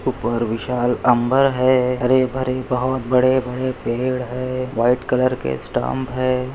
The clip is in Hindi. उपर विशाल अंबर है हरे-बरे बहुत बड़े बड़े पेड़ है व्हाइट कलर के स्टम्प है।